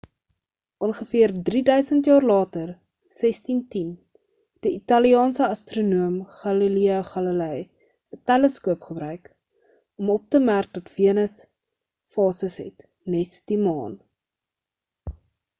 ongeveer drieduisend jaar later in 1610 het 'n italiaanse astronoom galileo galilei 'n teleskoop gebruik om op te merk dat venus fases het nes die maan